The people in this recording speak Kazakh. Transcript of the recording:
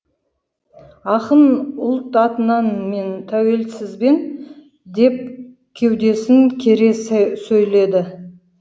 ақын ұлт атынан мен тәуелсізбін деп кеудесін кере сөйлейді